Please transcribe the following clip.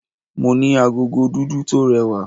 Mo ní agogo dúdú tó rẹwà.